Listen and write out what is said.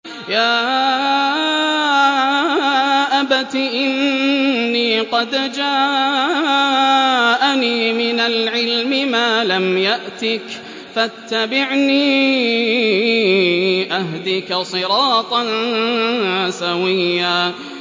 يَا أَبَتِ إِنِّي قَدْ جَاءَنِي مِنَ الْعِلْمِ مَا لَمْ يَأْتِكَ فَاتَّبِعْنِي أَهْدِكَ صِرَاطًا سَوِيًّا